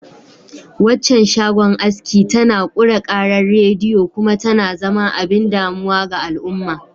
Waccan shagon aski tana ƙure ƙarar rediyo kuma tana zama abin damuwa ga al'umma.